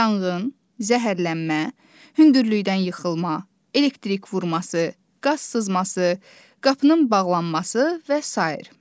Yanğın, zəhərlənmə, hündürlükdən yıxılma, elektrik vurması, qaz sızması, qapının bağlanması və sair.